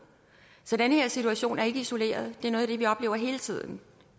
så den her situation er ikke isoleret det er noget af det vi oplever hele tiden